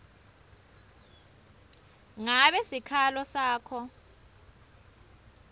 ngabe sikhalo sakho